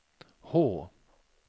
H